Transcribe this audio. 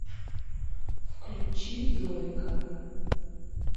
включи зойка